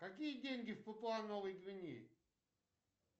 какие деньги в папуа новой гвинеи